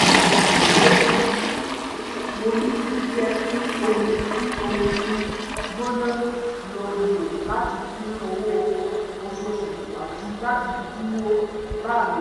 mo yí jíjẹ́ kí omi kí omi mi gbóná lọlẹ̀ láti dín owó oṣooṣù kù àti láti dúró láàrin ìṣúná